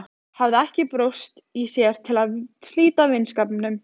Hafði ekki brjóst í sér til að slíta vinskapnum.